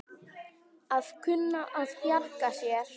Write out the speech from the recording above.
Að kunna að bjarga sér!